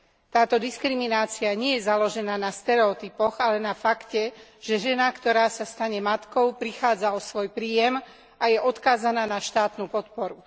Táto diskriminácia nie je založená na stereotypoch, ale na fakte, že žena, ktorá sa stane matkou, prichádza o svoj príjem a je odkázaná na štátnu podporu.